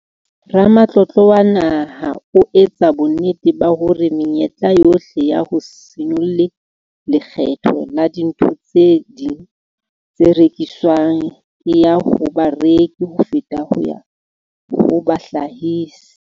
Ramatlotlo wa Naha ho etsa bonnete ba hore menyetla yohle ya ho se nyollelwe lekgetho la dintho tse ding tse rekiswang e ya ho bareki ho feta ho ya ho bahlahisi.